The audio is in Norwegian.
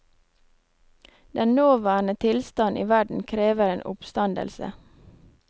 Den nåværende tilstand i verden krever en oppstandelse.